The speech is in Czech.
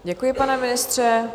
Děkuji, pane ministře.